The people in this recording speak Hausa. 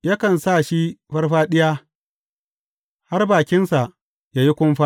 Yakan sa shi farfaɗiya, har bakinsa ya yi kumfa.